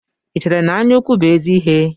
Ị chere na anya ukwu bụ ézì ihe?